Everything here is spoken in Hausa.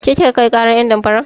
Ke kika kai ƙarar ƴen damfaran?